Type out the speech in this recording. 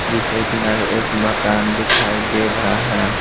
जिसके किनारे एक मकान दिखाई दे रहा है।